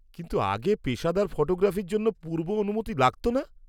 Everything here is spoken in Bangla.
-কিন্তু আগে পেশাদার ফটোগ্রাফির জন্য পূর্ব অনুমতি লাগতো না?